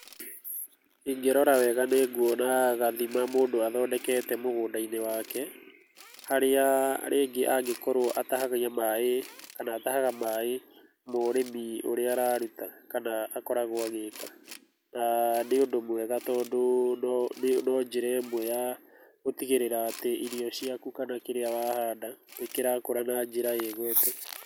Ingĩrora wega nĩnguona gathima mũndũ athondekete mũgũndainĩ wake, harĩa rĩngĩ angĩkrwo atahagia maaĩ kana atahaga maaĩ ma ũrĩmi ũrĩa araruta kana akoragwo agĩka. Na nĩ ũndũ mwega tondũ no njĩra ĩmwe ya gũtigĩrĩra atĩ irio ciaku kana kĩrĩa wahanda nĩkĩrakũra na njĩra ĩgwete.